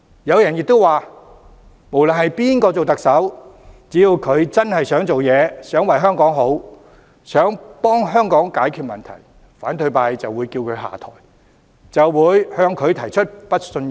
有人亦指出不論誰當特首，只要他真的想做事、想為香港好、想為香港解決問題，反對派就會叫他下台，對他提出不信任議案。